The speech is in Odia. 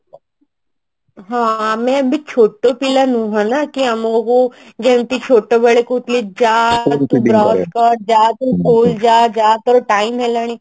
ହଁ ଆମେ ବି ଛୋଟ ପିଲା ନୁହଁ ନା କି ଆମକୁ ଯେମତି ଛୋଟ ବେଳେ କହୁଥିଲେ ଯା school ଯା ଯା ତୋର time ହେଲାଣି